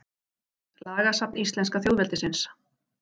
Lagasafn íslenska þjóðveldisins.